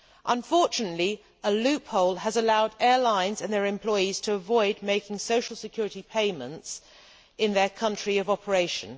Unfortunately, a loophole has allowed airlines and their employees to avoid making social security payments in their country of operation.